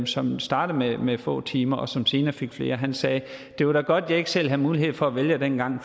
som startede med få timer men som senere fik flere og han sagde det var da godt jeg ikke selv havde mulighed for at vælge dengang